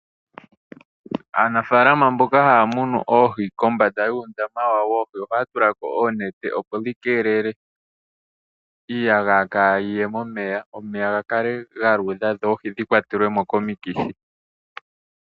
Aanafalama mboka haya munu oohi, kombanda yuundama wawo woohi ohaya tulako oonete, opo dhi keelele iiyagaya kaayiye momeya, omeya gakale galuudha dho dhikwatelwemo komikithi.